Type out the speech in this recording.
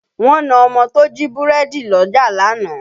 Wọ́n na ọmọ tó jí búrẹ́dì lọ́jà lánàá